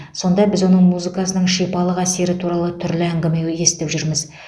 сонда біз оның музыкасының шипалық әсері туралы түрлі әңгіме естіп жүрміз